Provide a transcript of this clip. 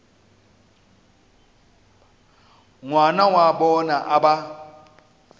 ngwana wa bona a ba